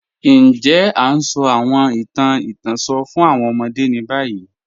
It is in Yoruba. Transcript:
Ǹjẹ̀ a ǹ sọ̀ awọn ìtàn ìtànṣọ̀ fún awọn ọmọdé ni bayi?